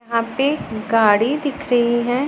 यहां पे गाड़ी दिख रही है।